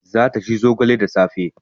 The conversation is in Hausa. Za ta ci zogale da safe